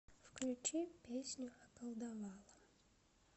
включи песню околдовала